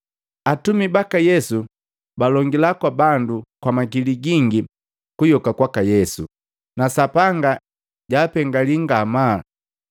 Atumi baka Yesu balongila kwa bandu kwa makili gingi kuyoka kwaka Yesu, na Sapanga jaapengaali ngamaa.